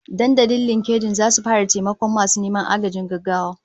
Dandalin LinkedIn zasu fara taimakon masu neman agajin gaggawa